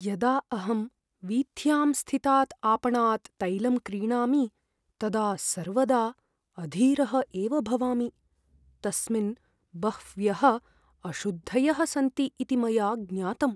यदा अहं वीथ्याम् स्थितात् आपणात् तैलं क्रीणामि तदा सर्वदा अधीरः एव भवामि। तस्मिन् बह्व्यः अशुद्धयः सन्ति इति मया ज्ञातम्।